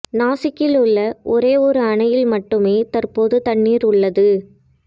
நாசிக்கில் உள்ள ஒரே ஒரு அணையில் மட்டுமே தற்போது தண்ணீர் உள்ளது